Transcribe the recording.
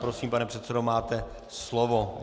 Prosím pane předsedo, máte slovo.